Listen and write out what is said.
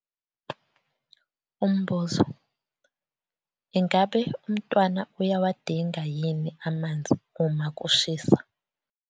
Umbuzo- Ingabe umntwana uyawadinga yini amanzi uma kushisa?